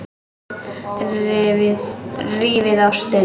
Rífið ostinn.